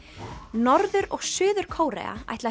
norður og Suður Kórea ætla